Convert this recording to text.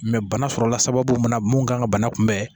bana sɔrɔla sababu mun na mun kan ka bana kunbɛn